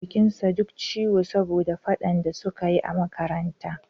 Jikin sa duk ciwo saboda faɗan da suka yi a makaranta